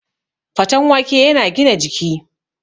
Faten wake yana gina jiki